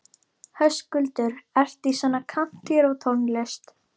Höskuldur: Ertu í svona kántrítónlist?